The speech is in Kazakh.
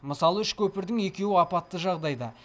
мысалы үш көпірдің екеуі апатты жағдайда